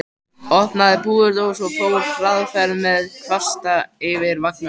Opnaði púðurdós og fór hraðferð með kvasta yfir vangana.